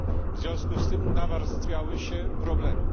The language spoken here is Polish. W związku z tym nawarstwiały się problemy.